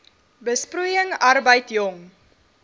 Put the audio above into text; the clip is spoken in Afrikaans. besproeiing arbeid jong